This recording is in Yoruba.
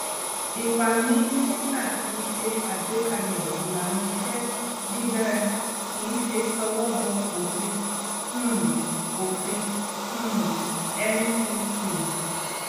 ipa mínísíta ni ṣe agbékalè ìlànàiṣé dídara kíí ṣe towó bọ òfin um òfin um ncc